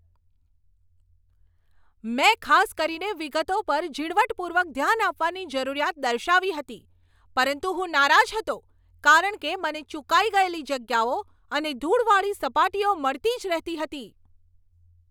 મેં ખાસ કરીને વિગતો પર ઝીણવટપૂર્વક ધ્યાન આપવાની જરૂરિયાત દર્શાવી હતી પરંતુ હું નારાજ હતો કારણ કે મને ચુકાઈ ગયેલી જગ્યાઓ અને ધૂળવાળી સપાટીઓ મળતી જ રહેતી હતી.